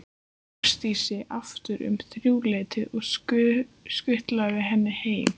Ásdísi aftur um þrjúleytið og skutlað henni heim.